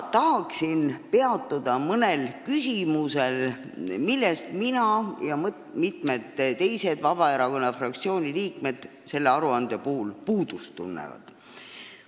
Tahan praegu peatuda mõnel asjal, millest peale minu osa teisigi Vabaerakonna fraktsiooni liikmeid selle aruande puhul puudust tunnevad.